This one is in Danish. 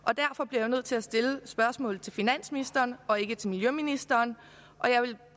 jeg jo nødt til at stille spørgsmålet til finansministeren og ikke til miljøministeren og jeg vil